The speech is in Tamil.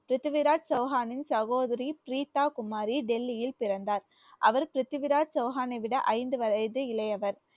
பிரிதிவிராஜ் சௌஹானின் சகோதரி பிரீதா குமரி டெல்லியில் பிறந்தார் அவர் பிரித்திவிராஜ் சௌஹானை விட ஐந்து வயது இளையவர்